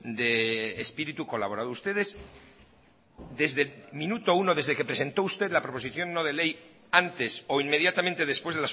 de espíritu colaborado ustedes desde el minuto uno desde que presentó usted la proposición no de ley antes o inmediatamente después